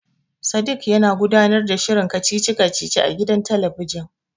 Sadik yana gudanar da shirin kacici kacici a gidan talabijin.